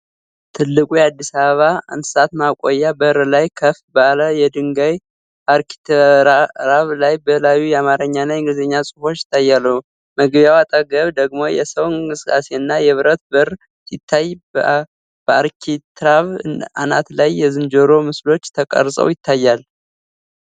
ትልቁ የአዲስ አበባ እንስሳት ማቆያ በር ላይ፣ ከፍ ባለ የድንጋይ አርኪትራቭ ላይ በላዩ የአማርኛና የእንግሊዝኛ ጽሁፎች ይታያሉ። መግቢያው አጠገብ ደግሞ የሰው እንቅስቃሴና የብረት በር ሲታይ፣ በአርኪትራቭ አናት ላይ የዝንጀሮ ምስሎች ተቀርፀው ይታያሉ።